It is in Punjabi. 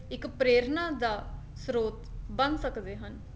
ਇੱਕ ਪ੍ਰੇਰਨਾ ਦਾ ਸਰੋਤ ਬਣ ਸਕਦੇ ਹਨ